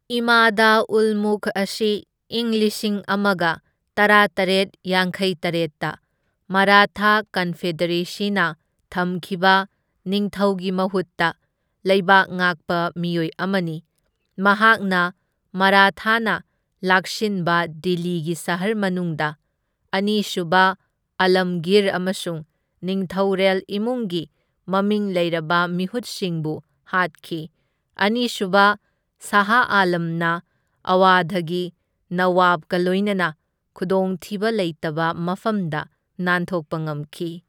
ꯏꯃꯥꯗ ꯎꯜ ꯃꯨꯜꯛ ꯑꯁꯤ ꯢꯪ ꯂꯤꯁꯤꯡ ꯑꯃꯒ ꯇꯔꯥꯇꯔꯦꯠ ꯌꯥꯡꯈꯩꯇꯔꯦꯠꯇ ꯃꯔꯥꯊꯥ ꯀꯟꯐꯦꯗꯔꯦꯁꯤꯅ ꯊꯝꯈꯤꯕ ꯅꯤꯡꯊꯧꯒꯤ ꯃꯍꯨꯠꯇ ꯂꯩꯕꯥꯛ ꯉꯥꯛꯄ ꯃꯤꯑꯣꯏ ꯑꯃꯅꯤ, ꯃꯍꯥꯛꯅ ꯃꯔꯥꯊꯥꯅ ꯂꯥꯛꯁꯤꯟꯕ ꯗꯤꯜꯂꯤꯒꯤ ꯁꯍꯔ ꯃꯅꯨꯡꯗ ꯑꯅꯤꯁꯨꯕ ꯑꯥꯂꯝꯒꯤꯔ ꯑꯃꯁꯨꯡ ꯅꯤꯡꯊꯧꯔꯦꯜ ꯏꯃꯨꯡꯒꯤ ꯃꯃꯤꯡ ꯂꯩꯔꯕ ꯃꯤꯍꯨꯠꯁꯤꯡꯕꯨ ꯍꯥꯠꯈꯤ, ꯑꯅꯤꯁꯨꯕ ꯁꯥꯍ ꯑꯥꯂꯝꯅ ꯑꯋꯙꯒꯤ ꯅꯋꯥꯕꯒ ꯂꯣꯏꯅꯅ ꯈꯨꯗꯣꯡꯊꯤꯕ ꯂꯩꯇꯕ ꯃꯐꯝꯗ ꯅꯥꯟꯊꯣꯛꯄ ꯉꯝꯈꯤ꯫